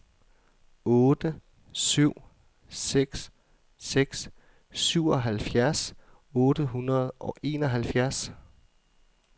otte syv seks seks syvoghalvfjerds otte hundrede og enoghalvfjerds